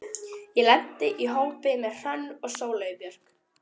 Ég lenti í hópi með Hrönn og Sóleyju Björk.